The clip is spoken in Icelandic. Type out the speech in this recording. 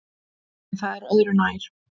En það er öðru nær.